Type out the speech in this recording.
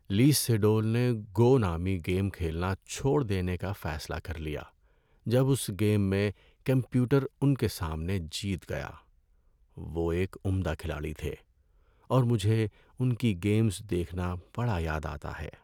لی سیڈول نے "گو" نامی گیم کھیلنا چھوڑ دینے کا فیصلہ کر لیا جب اس گیم میں کمپیوٹر ان کے سامنے جیت گیا۔ وہ ایک عمدہ کھلاڑی تھے اور مجھے ان کی گیمز دیکھنا بڑا یاد آتا ہے۔